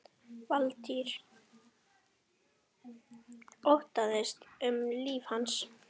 Valtýr: Óttaðist um líf hans?